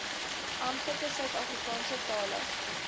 amptelike suidafrikaanse tale